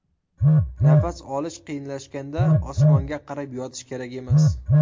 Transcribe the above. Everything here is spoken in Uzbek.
Nafas olish qiyinlashganda osmonga qarab yotish kerak emas.